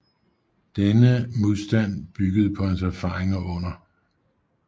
Denne modstand byggede på hans erfaringer under 2